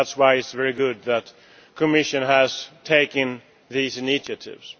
That is why it is very good that the Commission has taken these initiatives.